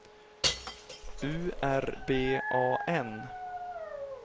U R B A N